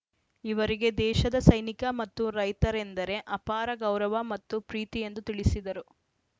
ಇವರಿಗೆ ದೇಶದ ಸೈನಿಕ ಮತ್ತು ರೈತರೆಂದರೆ ಅಪಾರ ಗೌರವ ಮತ್ತು ಪ್ರೀತಿ ಎಂದು ತಿಳಿಸಿದರು